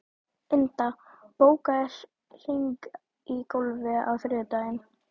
Inda, bókaðu hring í golf á þriðjudaginn.